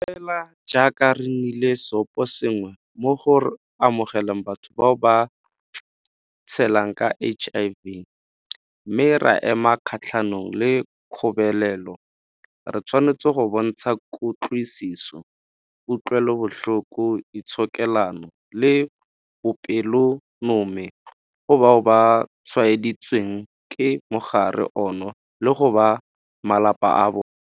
Fela jaaka re nnile seoposengwe mo go amogeleng batho bao ba tshelang ka HIV mme ra ema kgatlhanong le kgobelelo, re tshwanetse go bontsha kutlwisiso, kutlwelobotlhoko, itshokelano le bopelonomi go bao ba tshwaeditsweng ke mogare ono le go ba malapa a bona.